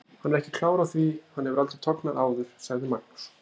Hann er ekki klár á því, hann hefur aldrei tognað áður, sagði Magnús.